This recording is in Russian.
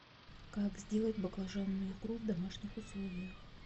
как сделать баклажанную икру в домашних условиях